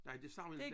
Nej det siger man inte